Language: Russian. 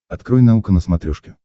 открой наука на смотрешке